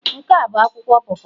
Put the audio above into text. Nke a bụ akwụkwọ po po?